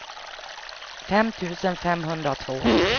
fem tusen femhundratvå